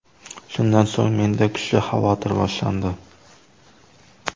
Shundan so‘ng menda kuchli xavotir boshlandi!